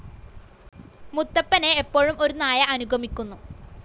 മുത്തപ്പനെ എപ്പോഴും ഒരു നായ അനുഗമിക്കുന്നു.